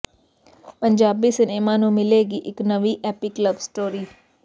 Punjabi cinema ਨੂੰ ਮਿਲੇਗੀ ਇੱਕ ਨਵੀਂ ਏਪੀਕ ਲਵ ਸਟੋਰੀ